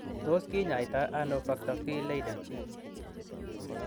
Tos kinyaita ano Factor V Leiden?